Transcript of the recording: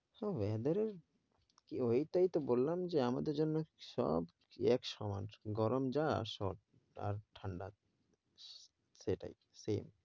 so, weather এর ওইটাই তো বললাম যে, আমাদের জন্য সব এক সমান গরম যা সব আর ঠান্ডা। সেটাই same